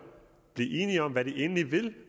blive enige om hvad de egentlig vil